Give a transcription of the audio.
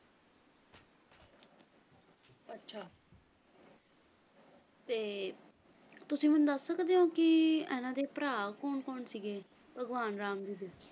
ਅੱਛਾ ਤੇ ਤੁਸੀਂ ਮੈਨੂੰ ਦੱਸ ਸਕਦੇ ਹੋਂ ਕਿ ਐਨਾ ਦੇ ਭਰਾ ਕੌਣ ਕੌਣ ਸੀਗੇ ਭਗਵਾਨ ਰਾਮ ਦੇ ਸੀ